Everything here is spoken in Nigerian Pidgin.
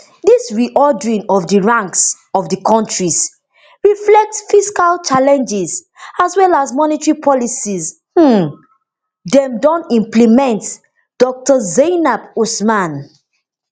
dis reordering of di rankings of dis kontris reflect fiscal challenges as well as monetary policies um dem don implement dr zainab usman